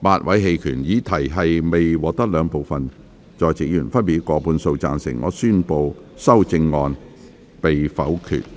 由於議題未獲得兩部分在席議員分別以過半數贊成，他於是宣布修正案被否決。